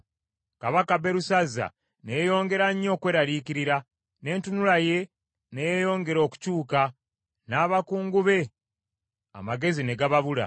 Kabaka Berusazza ne yeeyongera nnyo okweraliikirira, n’entunula ye ne yeeyongera okukyuka; n’abakungu be amagezi ne gababula.